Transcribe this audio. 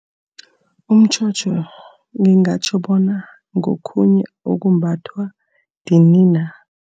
Umtjhotjho ngingatjho bona ngokhunye okumbathwa edinina.